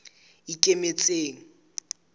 ikemetseng